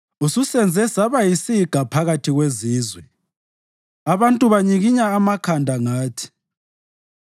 Ususenze saba yisiga phakathi kwezizwe; abantu banyikinya amakhanda ngathi.